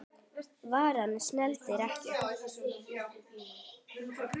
Varan seldist ekki.